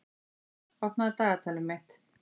Tóbý, opnaðu dagatalið mitt.